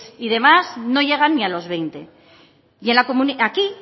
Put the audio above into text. y demás no llegan ni a los veinte y aquí